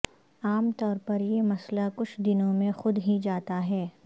عام طور پر یہ مسئلہ کچھ دنوں میں خود ہی جاتا ہے